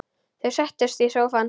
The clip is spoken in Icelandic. Þau settust í sófann.